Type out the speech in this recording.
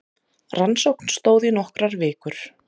Rannsókn stóð í nokkrar vikur